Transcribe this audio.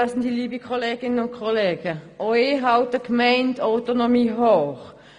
Auch ich halte die Gemeindeautonomie hoch.